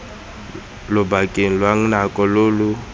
lobakeng lwa nako lo lo